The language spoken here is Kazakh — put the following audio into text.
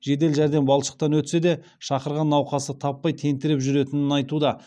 жедел жәрдем балшықтан өтсе де шақырған науқасты таппай тентіреп жүретінін айтуда